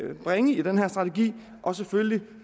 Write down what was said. bringe i den her strategi og selvfølgelig for